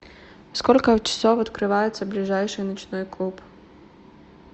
сколько часов открывается ближайший ночной клуб